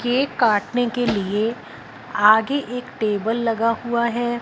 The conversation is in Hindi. केक काटने के लिए आगे एक टेबल लगा हुआ है।